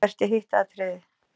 Hvert er hitt atriðið?